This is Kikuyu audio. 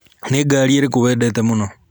Nĩ ngaari ĩrĩkũ wendete mũno?